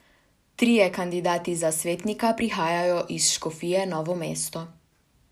Trije kandidati za svetnika prihajajo iz škofije Novo mesto.